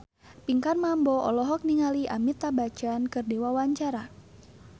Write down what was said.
Pinkan Mambo olohok ningali Amitabh Bachchan keur diwawancara